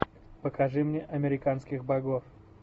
покажи мне американских богов